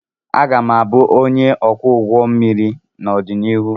Aga m abụ ónyé ọkwọ ụgbọ mmiri n'odonihu.